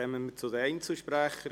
Kommissionssprecher